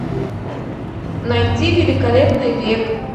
найти великолепный век